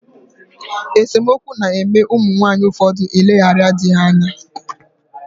Esomokwu na eme umu nwaanyi ufodu eleghara dii ha anya.